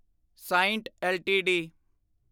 ਸਾਇੰਟ LTD